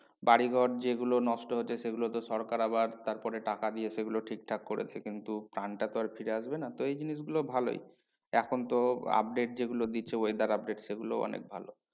বাড়িঘর যেগুলো নষ্ট হচ্ছে সেগুলো তো সরকার আবার তারপরে টাকা দিয়ে সেগুলো ঠিকঠাক করেছে কিন্তু প্রাণটা তো আর ফিরে আসবে না তো এই জিনিস গুলো ভালোই। এখন তো update যেগুলো দিচ্ছে weather update সেগুলো অনেক ভালো।